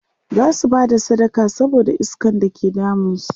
zasu Bada sadaka saboda iskan da ke damun su